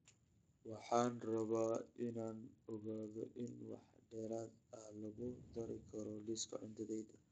Waxaan rabaa in aan ogaado in wax dheeraad ah lagu dari karo liiska cuntadayda